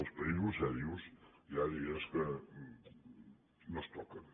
als països seriosos hi ha dies que no es toquen